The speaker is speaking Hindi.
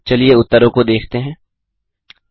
चलिए उत्तरों को देखते हैं 1